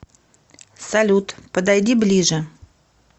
салют подойди ближе